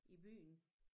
I byen